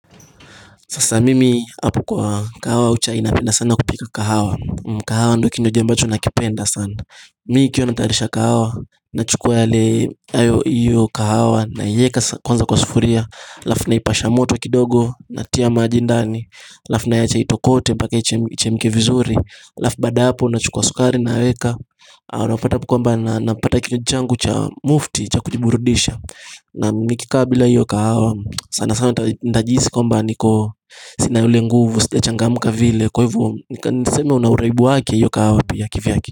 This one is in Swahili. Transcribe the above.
Sasa mimi hapo kwa kahawa au chai napenda sana kupika kahawa kahawa ndo kinywaji ambacho nakipenda sana Mi ikiwa natayarisha kahawa Nachukwa yale ayo iyo kahawa na ieka kwanza kwa sufuria alafu na ipasha moto kidogo Natia maji ndani alafu naiacha itokote paka ichemke vizuri alafu baada ya hapo nachukuwa sukari naweka Unapata hapo kwamba na napata kinywaji changu cha mufti cha kujiburudisha na nikikaa bila iyo kahawa sana sana nitajihisi kwamba niko sina ule nguvu Sijachangamka vile Kwaivyo nika niseme unauraibu wake iyo kahawa pia kivyake.